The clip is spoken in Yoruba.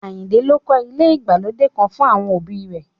Àyìnkẹ́ ló kọ́ ilé ìgbàlódé kan fún àwọn òbí i rẹ̀